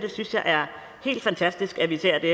synes det er helt fantastisk at vi ser det